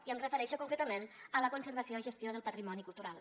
i em refereixo concretament a la conservació i gestió del patrimoni cultural